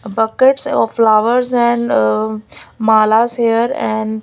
buckets of flowers and uh malas here and--